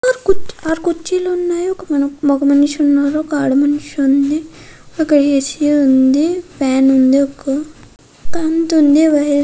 హా ఆరు కోర్చిలు ఉనేవక మగ మనషి ఉనారు. వక అడ మనషి ఉనారు. వక అచ ఉనది. వక ఫ్యాన్ ఉనది. ఆవ్తునది వైర్ థిఒ--